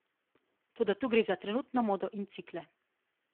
Toda tu gre za trenutno modo in cikle.